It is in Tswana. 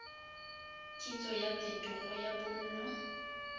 kitsiso ya phetogo ya bonno